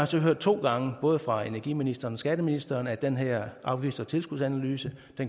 så hørt to gange både fra energiministeren og skatteministeren at den her afgifts og tilskudsanalyse